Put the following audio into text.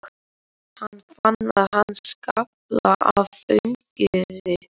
Hann fann að hann skalf af fögnuði.